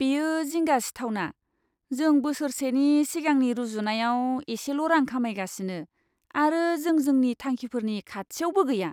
बेयो जिंगा सिथावना! जों बोसोरसेनि सिगांनि रुजुनायाव एसेल' रां खामायगासिनो, आरो जों जोंनि थांखिफोरनि खाथियावबो गैया!